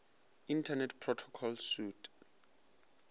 internet protocol suite